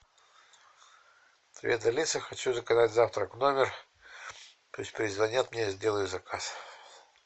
привет алиса хочу заказать завтрак в номер пусть перезвонят мне я сделаю заказ